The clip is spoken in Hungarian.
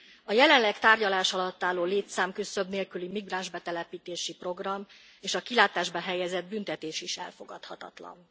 A jelenleg tárgyalás alatt álló létszámküszöb nélküli migránsbetelepítési program és a kilátásba helyezett büntetés is elfogadhatatlan.